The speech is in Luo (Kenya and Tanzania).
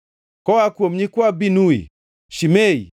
Koa kuom nyikwa Binui: Shimei,